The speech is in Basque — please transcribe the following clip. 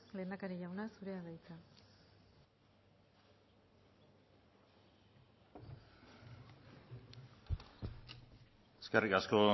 lehendakari jauna zurea da hitza eskerrik asko